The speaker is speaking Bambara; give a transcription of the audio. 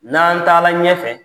N'an taala ɲɛfɛ